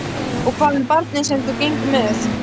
Og hvað með barnið sem þú gengur með?